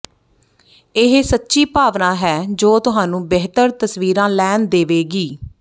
ਇਹ ਸੱਚੀ ਭਾਵਨਾ ਹੈ ਜੋ ਤੁਹਾਨੂੰ ਬਿਹਤਰ ਤਸਵੀਰਾਂ ਲੈਣ ਦੇਵੇਗੀ